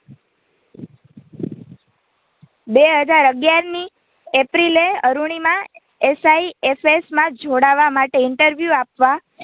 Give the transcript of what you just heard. બે હાજર અગિયાર ની એપ્રિલે અરૂણિમા SIFS માં જોડાવા માટે Interview આપવા